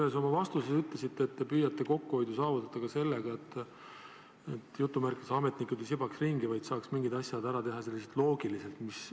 Te ühes oma vastuses ütlesite, et te püüate kokkuhoidu saavutada ka sellega, et ametnikud ei sibaks ringi, vaid saaks mingid asjad ära teha loogiliselt.